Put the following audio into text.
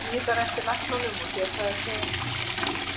Maður bíður bara eftir læknunum og sér hvað þeir segja.